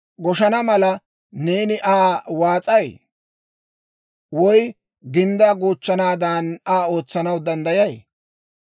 Goshana mala, neeni Aa waas'ay? Woy ginddaa goochchanaadan Aa ootsanaw danddayay?